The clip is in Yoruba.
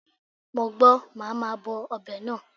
Mo gbọ́, màá ma bọ ọbẹ̀ náà.